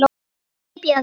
Hypjaðu þig.